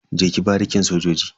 Je ki barikin sojoji.